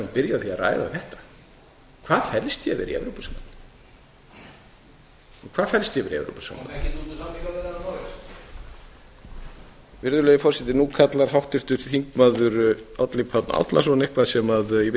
við ættum að byrja á því að ræða þetta hvað felst að vera í evrópusambandinu nú kallar háttvirtur þingmaður árni páll árnason eitthvað sem ég veit ekki